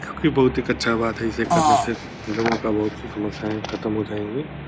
जो की बहुत ही कच्चा बात है जिसे करने से लोगों का बहुत से समस्याएं खत्म हो जाएगी।